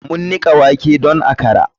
Mu nika wake don akra.